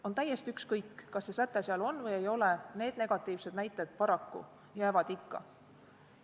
On täiesti ükskõik, kas see säte seal on või ei ole, need negatiivsed näited jäävad paraku ikka.